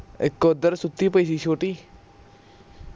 ਸੁਤੀ ਪਈ ਮੈਥੋਂ ਸੀ ਛੋਟੀ